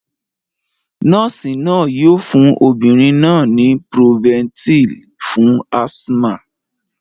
Noosi yoo fun obirin naa ni Proventil fun asthma.